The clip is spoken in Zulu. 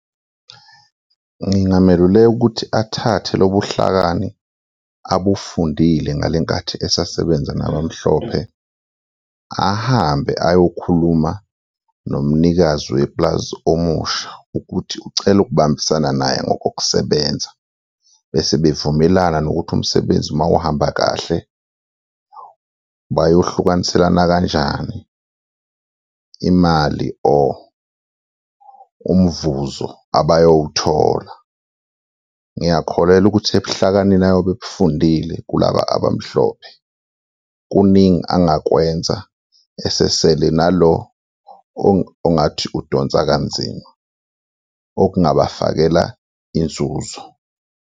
Ngingameluleka ukuthi athathe lobuhlakani abufundile ngale nkathi esasebenza nabamhlophe, ahambe ayokhuluma nomnikazi wepulazi omusha ukuthi ucela ukubambisana naye ngokokusebenza bese bevumelana nokuthi umsebenzi mawuhamba kahle bayohlukaniselana kanjani imali or umvuzo abayowuthola. Ngiyakholelwa ukuthi ebuhlakanini ayobe ebufundile kulaba abamhlophe, kuningi angakwenza esesele nalo ongathi udonsa kanzima, okungabafakela inzuzo.